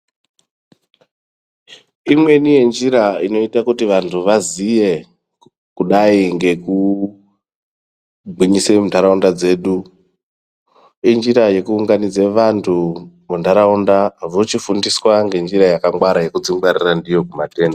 Imweni yenjira inoite kuti vantu vaziye kudai ngekugwinyise muntaraunda dzedu, injira yekuunganidze vantu muntaraunda vochifundiswa ngenjira yakangwara yekudzingwarira ndiyo kumatenda.